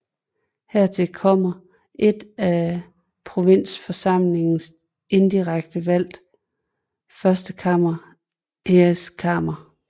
Hertil kommer et af provinsforsamlingerne indirekte valgt førstekammer Eerste Kamer